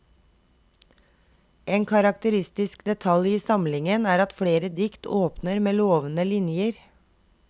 En karakteristisk detalj i samlingen er at flere dikt åpner med lovende linjer.